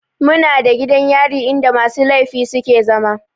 Muna da gidan yari in da musu laifi suke zama